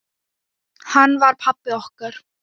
Hinn var pabbi okkar.